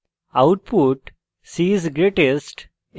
output c is greatest